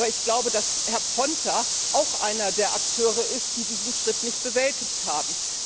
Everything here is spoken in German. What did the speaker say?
Aber ich glaube, dass Herr Ponta auch einer der Akteure ist, die diesen Schritt nicht bewältigt haben.